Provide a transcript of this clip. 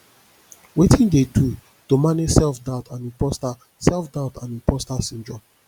wetin you dey do to manage self doubt and imposter self doubt and imposter syndrome